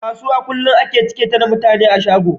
Kasuwa kullun a cike take da mutane a shago